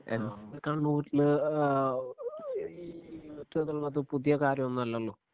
A കണ്ണൂരില് ഏഹ് ഈ പുതിയ കാര്യമൊന്നുമല്ലല്ലോ